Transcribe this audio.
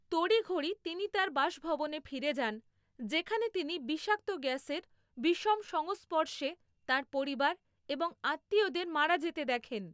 তড়িঘড়ি তিনি তার বাসভবনে ফিরে যান যেখানে তিনি বিষাক্ত গ্যাসের বিষম সংস্পর্শে তাঁর পরিবার এবং আত্মীয়দের মারা যেতে দেখেন।